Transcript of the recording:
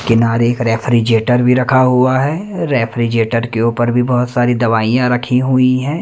किनारे एक रेफ्रिजरेटर भी रखा हुआ है रेफ्रिजरेटर के ऊपर भी बहुत सारी दवाइयां रखी हुई हैं।